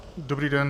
Dobrý den.